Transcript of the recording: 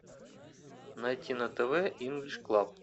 найти на тв инглиш клаб